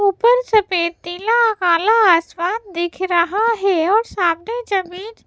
ऊपर सफेद तीला काला आसमान दिख रहा है और सामने जमीन --